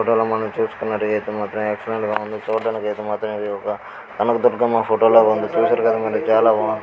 ఈ ఫోటో లో మనం చూసుకునట్టుగా అయితే మాత్రం ఎక్స్లెంట్ గా ఉంది. చూడానికి అయితే మాత్రం ఇది ఒక కనకదుర్గమ్మ ఫోటో లా ఉంది. చూసారు కధ మరి చాలా బాగుంది.